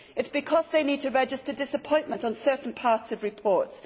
It is because they need to register disappointment on certain parts of reports.